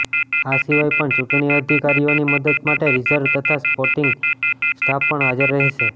આ સિવાય પણ ચૂંટણી અધિકારીઓની મદદ માટે રીઝર્વ તથા સપોર્ટિંગ સ્ટાફ પણ હાજર રહેશે